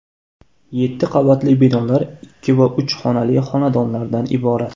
Yetti qavatli binolar ikki va uch xonali xonadonlardan iborat.